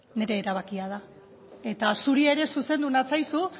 nire erabakia da eta zuri ere zuzendu natzaizu